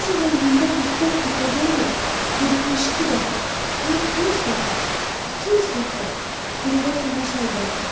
O zaman gündə 44 dəfə deyil, 72 dəfə, lap 100 dəfə, 200 dəfə qüruba tamaşa edərdim.